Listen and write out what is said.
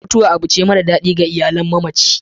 mutuwa abun ce mara dadi ga iyalan mamacin